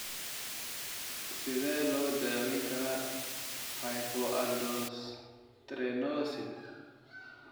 Sidee loo daweyn karaa hypoaldosteronism?